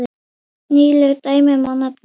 Nýleg dæmi má nefna.